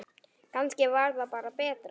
Kannski var það bara betra.